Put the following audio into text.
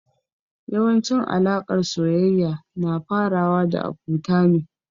Yawancin alaƙar soyayya na farawa da abota ne.